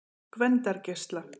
Gvendargeisla